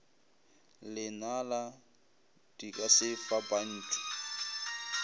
lenala di ka se fapantšhwe